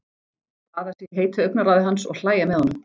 Baða sig í heitu augnaráði hans og hlæja með honum.